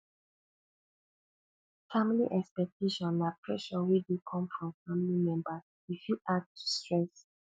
family expectation na pressure wey dey come from family members e fit add to stress